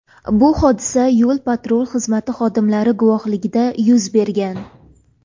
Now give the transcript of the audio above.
Bu hodisa yo‘l-patrul xizmati xodimlari guvohligida yuz bergan.